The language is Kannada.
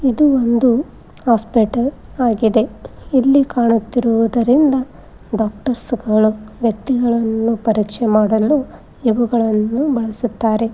ಇದು ಒಂದು ಹಾಸ್ಪಿಟಲ್ ಆಗಿದೆ ಇಲ್ಲಿ ಕಾಣುತ್ತಿರುವುದರಿಂದ ಡಾಕ್ಟರ್ಸ್ಗಳು ವ್ಯಕ್ತಿಗಳನ್ನ ಪರೀಕ್ಷೆ ಮಾಡಲು ಇವುಗಳನ್ನು ಬಳಸುತ್ತಾರೆ.